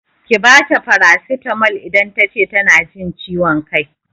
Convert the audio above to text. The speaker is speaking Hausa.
Ki bata farasitamol idan tace tana jin ciwon kai!